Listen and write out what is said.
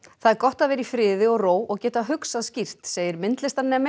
það er gott að vera í friði og ró og geta hugsað skýrt segir